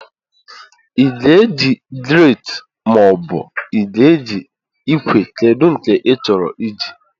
Ị ga-eji grate, maobu ị ga-eji ikwe kedu nke ịchọrọ iji?